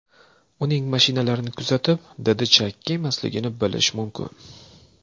Uning mashinalarini kuzatib, didi chakki emasligini bilish mumkin.